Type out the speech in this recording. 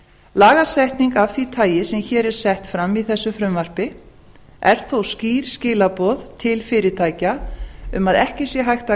lagasetning af því tagi sem hér er sett fram í þessu frumvarpi er þó skýr skilaboð til fyrirtækja um að ekki sé hægt að